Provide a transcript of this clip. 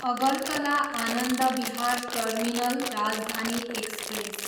Agartala Anand Vihar terminal Rajdhani express